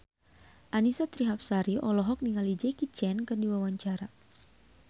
Annisa Trihapsari olohok ningali Jackie Chan keur diwawancara